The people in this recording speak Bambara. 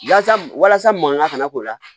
Yasa walasa mankan kana k'o la